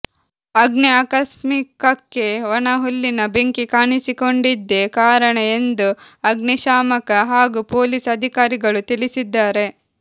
ಅಗ್ನಿ ಆಕಸ್ಮಿಕಕ್ಕೆ ಒಣಹುಲ್ಲಿನ ಬೆಂಕಿ ಕಾಣಿಸಿಕೊಂಡಿದ್ದೆ ಕಾರಣ ಎಂದು ಅಗ್ನಿ ಶಾಮಕ ಹಾಗೂ ಪೊಲೀಸ್ ಅಧಿಕಾರಿಗಳು ತಿಳಿಸಿದ್ದಾರೆ